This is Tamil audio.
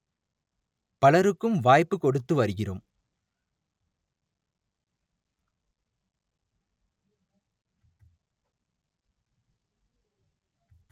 பலருக்கும் வாய்ப்பு கொடுத்து வருகிறோம்